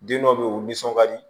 Den dɔ be yen u bi nisɔn ka di